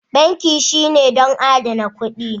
Banki shine don adana kuɗi